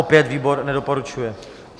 Opět výbor nedoporučuje.